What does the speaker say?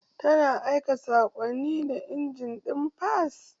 Tana aika saƙonni da injin ɗin fas